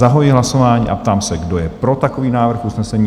Zahajuji hlasování a ptám se, kdo je pro takový návrh usnesení?